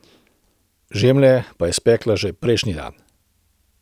Žemlje pa je spekla že prejšnji dan.